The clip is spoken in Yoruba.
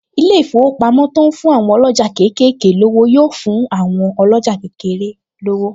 Ilé-ìfowópamọ́ to ń fún àwọn ọlọ́jà kéékèèké lówó yóò fún àwọn ọlọ́jà kékeré lówó